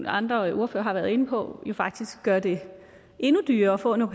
andre ordførere har været inde på det faktisk gør det endnu dyrere at få en au